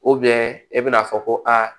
e bɛn'a fɔ ko aa